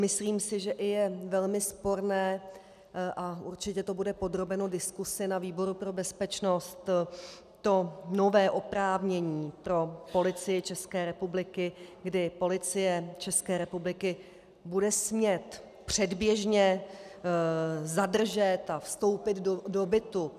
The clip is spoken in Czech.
Myslím si, že je i velmi sporné, a určitě to bude podrobeno diskusi na výboru pro bezpečnost, to nové oprávnění pro Policii České republiky, kdy Policie České republiky bude smět předběžně zadržet a vstoupit do bytu.